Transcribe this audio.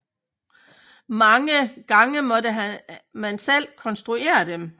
Mange gange måtte man selv konstruere dem